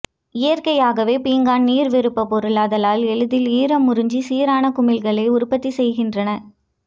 இயற்கையாகவே பீங்கான் நீர்விருப்பப் பொருள் ஆதலால் எளிதில் ஈரமுறிஞ்சி சீரான குமிழ்களை உற்பத்தி செய்கின்றன